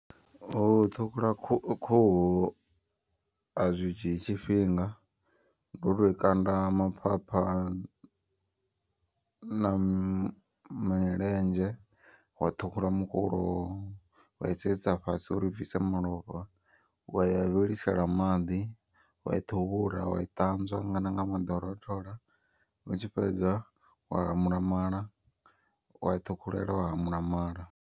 U ṱhukhula khuhu khuhu azwi dzhii tshifhinga ndi u to i kanda maphapha na na milenzhe. Wa ṱhukhula mukulo wa I sedzisa fhasi uri i bvise malofha. Waya wa i vhilisela maḓi wa ṱhuvhula wa i ṱanzwa na nga maḓi o rothola. U tshi fhedza wa hamula mala wa i ṱhukhulela wa hamula mala.